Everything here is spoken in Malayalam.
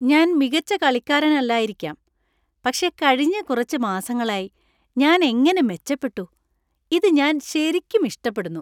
ഞാൻ മികച്ച കളിക്കാരനല്ലായിരിക്കാം, പക്ഷേ കഴിഞ്ഞ കുറച്ച് മാസങ്ങളായി ഞാൻ എങ്ങനെ മെച്ചപ്പെട്ടു! ഇത് ഞാൻ ശരിക്കും ഇഷ്ടപ്പെടുന്നു.